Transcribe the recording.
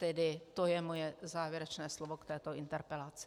Tedy to je moje závěrečné slovo k této interpelaci.